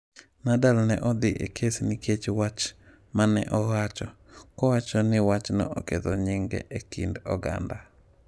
Nadal ne odhi e kes nikech wach ma ne owacho, kowacho ni wachno oketho nyinge e kind oganda.